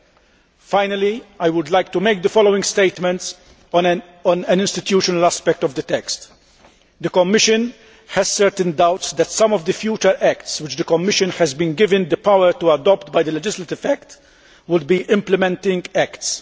I should like to conclude by making the following statement on an institutional aspect of the text The Commission has certain doubts that some of the future acts which the Commission has been given the power to adopt by the legislative act would be implementing acts.